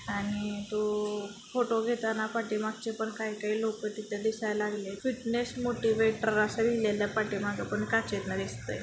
आणि तो फोटो घेताना पाठीमागचे पण काही काही लोकं तिथं दिसाय लागलेत फिटनेस मोटीवेटर असं लिहलेलं पाठीमागं काचेतनं दिसतय.